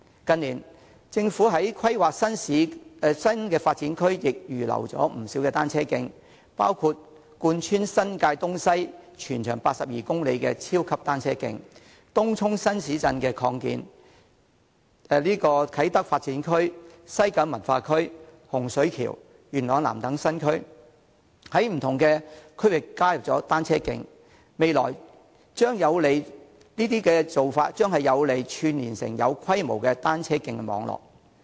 近年，政府在規劃新發展區時亦預留了不少土地興建單車徑，包括貫穿新界東西、全長82公里的超級單車徑，而在東涌擴建的新市鎮，以及啟德發展區、西九文化區、洪水橋、元朗南等不同區域的新區，亦加設了單車徑，這些做法將有利於把單車徑串連成為有規模的單車徑網絡。